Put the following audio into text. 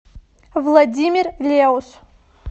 владимир леус